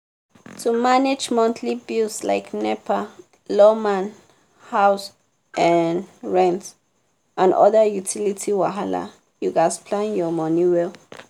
to manage monthly bills like nepa lawma house um rent and other utility wahala you gats plan your money well.